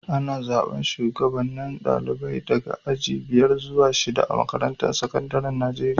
Ana zaban shugabanen dalibai daga aji biyar zuwa shida a'makarantun sekandaren Nijeriya.